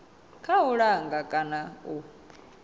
kha u langa kana u